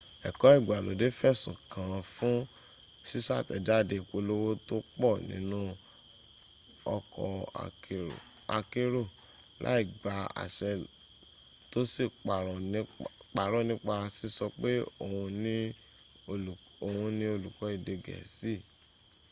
ẹ̀kọ́ ìgbàlódé fẹ̀sùn kàán fún ṣíṣàtẹ̀jáde ìpolówó tó pọ̀ nínu ọkọ̀ akérò láì gba àṣẹ tó sì parọ́ nípa síso pé òhun ní olùkọ́ èdè gẹ̀ẹ́sì